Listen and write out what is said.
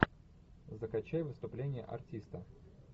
закачай выступление артиста